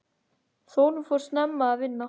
Þórunn fór snemma að vinna.